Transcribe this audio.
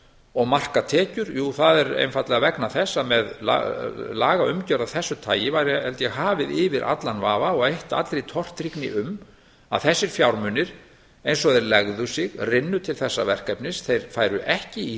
og marka tekjur jú það er einfaldlega vegna þess að með lagaumgjörð af þessu tagi væri held ég hafið yfir allan vafa og eitt allri tortryggni um að þessir fjármunir eins og þeir legði sig rynnu til þessa verkefnis þeir færu ekki í